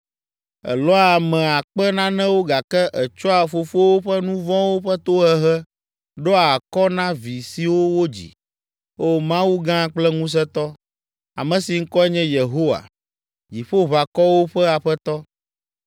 Elɔ̃a ame akpe nanewo gake ètsɔa fofowo ƒe nu vɔ̃wo ƒe tohehe ɖoa akɔ na vi siwo wodzi. O Mawu gã kple ŋusẽtɔ, ame si ŋkɔe nye Yehowa, Dziƒoʋakɔwo ƒe Aƒetɔ,